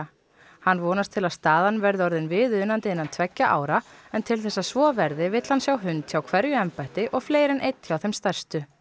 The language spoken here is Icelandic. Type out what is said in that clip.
hann vonast til að staðan verði orðin viðunandi innan tveggja ára en til þess að svo verði vill hann sjá hund hjá hverju embætti og fleiri en einn hjá þeim stærstu